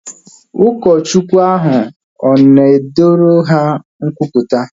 Ụlọ Chukwu ahu na ọ na edoru ha nkwupụta?